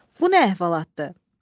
Bu nə əhvalatdır?